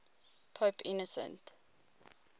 pope innocent